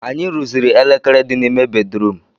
Anyị rụziri elekere di n'ime bedrum